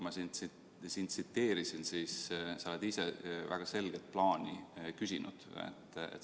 Ma siin tsiteerisin sind, sest sa ise oled väga selget plaani küsinud.